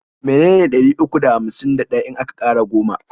me ne ne ɗari uku da hamsin da ɗaya in aka ƙara goma?